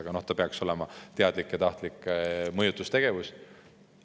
Aga see peaks olema sel juhul teadlik ja tahtlik mõjutustegevus.